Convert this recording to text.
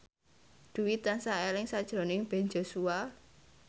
Dwi tansah eling sakjroning Ben Joshua